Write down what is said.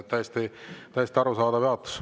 Täiesti arusaadav jaotus.